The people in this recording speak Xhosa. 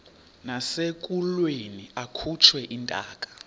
nasekulweni akhutshwe intaka